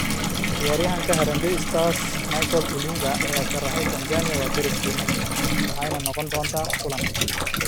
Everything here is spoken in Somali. Ciyaaryahanka Harambee Stars Michael Olunga ayaa sharaxay, “Tanzania waa deriskeena, waxayna noqon doontaa kulan adag.